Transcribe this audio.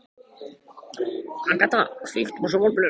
Agata, kveiktu á sjónvarpinu.